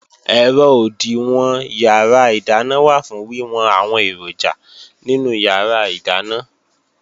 Ẹ̀rọ òdìwọ̀n yàrá ìdáná wà fún wíwọn àwọn èròjà nínú yàrá ìdáná